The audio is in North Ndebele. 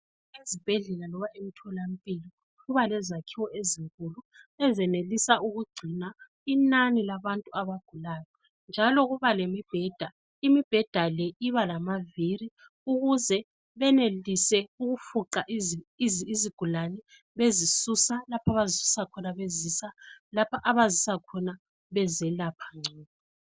Ezibhedlela loba emtholampilo kuba lezakhiwo ezinkulu ezenelisa ukugcina inani labantu abagulayo. Njalo kuba lemibheda, imibheda le iba lamaviri ukuze benelise ukufuqa izigulane, bezisusa lapha abazisusa khona bezisa lapha abazisa khona bezelapha ngcono.